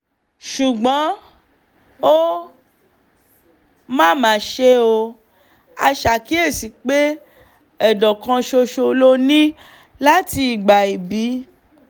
ṣùgbọ́n ó mà mà ṣe o a ṣàkíyèsí pé ệdọ̀ kan ṣoṣo ló ní láti ìgbà íbí